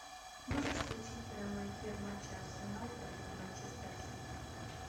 можешь включить прямой эфир матча арсенал против манчестер сити